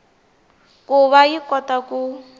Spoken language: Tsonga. ku va yi kota ku